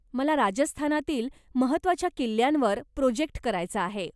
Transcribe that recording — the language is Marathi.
मला राजस्थानातील महत्वाच्या किल्ल्यांवर प्रोजेक्ट करायचा आहे.